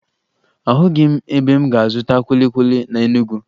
Ahụghị m ebe m ga-azụta kwili kwili na Enugwu